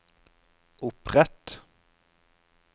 opprett